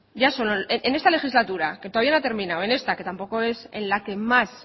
ya solo en esta legislatura que todavía no ha terminado en esta que tampoco es en la que más